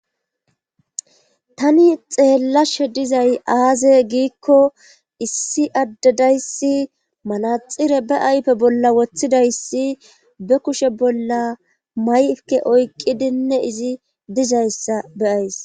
tani xeellashe dizay aaze giikko issi addedayssi manaxire be ayfe bolla woththidayssi be kushe bolla mayke oykqqidinne izi dizayssa beyays